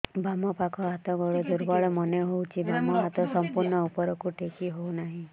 ବାମ ପାଖ ହାତ ଗୋଡ ଦୁର୍ବଳ ମନେ ହଉଛି ବାମ ହାତ ସମ୍ପୂର୍ଣ ଉପରକୁ ଟେକି ହଉ ନାହିଁ